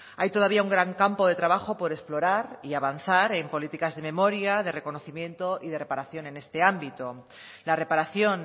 hay todavía un gran campo de trabajo por explorar y avanzar en políticas de memoria de reconocimiento y de reparación en este ámbito la reparación